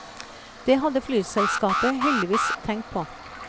Det hadde flyselskapet heldigvis tenkt på.